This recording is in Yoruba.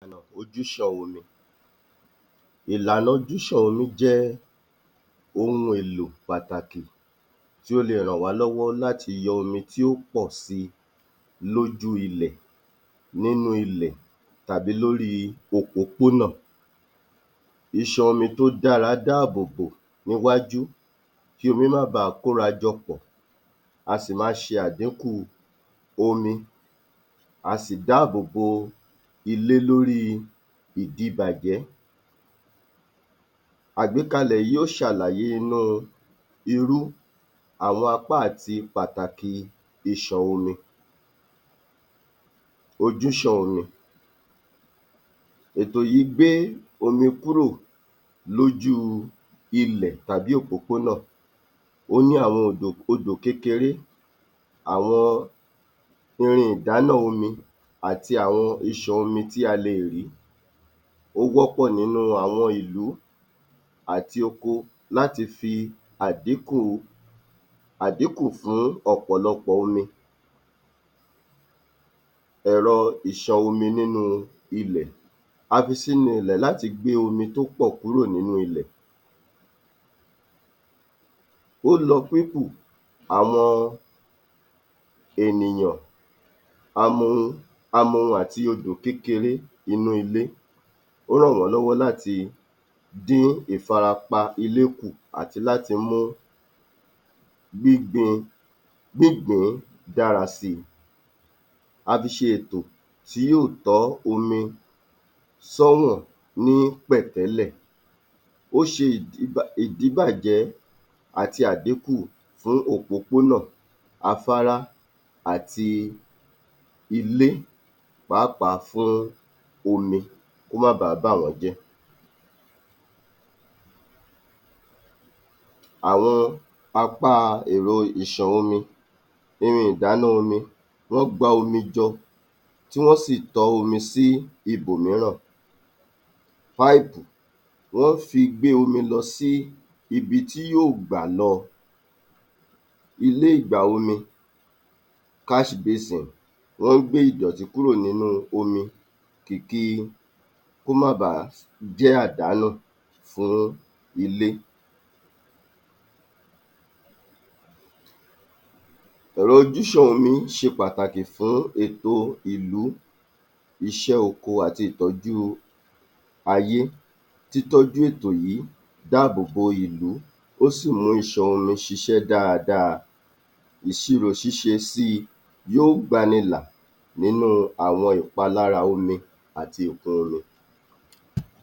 32. Ojúṣàn omi Ìlànà ojúṣàn omi jẹ́ ohun èlò pàtàkì tí ó le rànwá lọ́wọ́ láti yọ omi tí ó pọ̀ síi lójú ilẹ̀, nínú ilẹ̀, tàbí lórí òpópónà. Ìṣàn omi tó dára dáàbò bò níwájú kí omi má baà kórajọpọ̀, a sì máa ṣe àdíkù omi, a sì dáàbò bo ilé lóríi ìdibàjẹ́. Àgbékalẹ̀ yìí ó ṣàlàyé inú irú àwọn apá àti pàtàkì ìṣàn omi. Ojúṣàn omi, ètò yìí gbé omi kúrò lójú ilẹ̀ tàbí òpópónà, ó ní àwọn um odò kékeré, àwọn irin ìdáná omi àti àwọn ìṣàn omi tí a lè rí. Ó wọ́pọ̀ nínú àwọn ìlú àti oko láti fi àdíkù, àdíkù fún ọ̀pọ̀lọpọ̀ omi. Ẹ̀rọ ìṣàn omi nínú ilẹ̀ A fi sínú ilẹ̀ láti gbé omi tópọ̀ kúrò nínú ilẹ̀, ó lọ àwọn ènìyàn amohun, amohun àti odò kékeré inú ilé, ó ràn wọ́n lọ́wọ́ láti dín ìfarapa ilé kù àti láti mú [umum] gbígbìn-ín dára síi. A fi ṣe ètò tí yóò tọ́ omi sọ́wọ̀n ní pẹ̀tẹ́lẹ̀, ó ṣe [umum] ìdíbàjẹ́ àti àdíkù fún òpópónà afárá àti ilé pàápàá fún omi kó má ba àá bàwọ́n jẹ́. Àwọn apá èrò ìṣàn omi, ohun ìdáná omi wọ́n gba omi jọ tí wọ́n sì tọ́ omi sí ibòmíràn páìpù, wọ́n ń fi gbé omi lọ sí ibi tí yóò gbà lọ. Ilé ìgbà omi cash basin Wọ́n ń gbé ìdọ̀tí kúrò nínú omi kìkì kó má baà jẹ́ àdánù fún ilé. Ọ̀rọ̀ ojúṣàn omi ṣe pàtàkì fún ètò ìlú iṣẹ́ oko àti ìtọ́jú ayé, títọ́jú ètò yìí dáàbò bo ìlú, ó sì mú iṣan omi ṣiṣẹ́ dáadáa, ìṣirò ṣíṣe síi yó gbani là nínú àwọn ìpalára omi àti ìtàn omi.